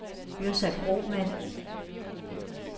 Yrsa Kromann